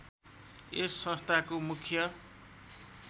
यस संस्थाको मुख्य